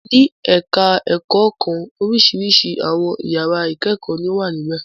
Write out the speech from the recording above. Ní ẹ̀ka-ẹ̀kọ́ kan oríṣiríṣi àwọn ìyàrá ìkẹ́kọ̀ọ́ ni ó wà níbẹ̀.